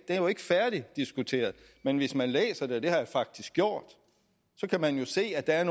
jo ikke færdigdiskuteret men hvis man læser det og det har jeg faktisk gjort kan man se at der er